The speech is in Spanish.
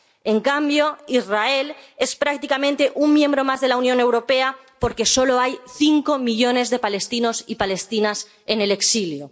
En cambio, Israel es prácticamente un miembro más de la Unión Europea porque solo hay cinco millones de palestinos y palestinas en el exilio.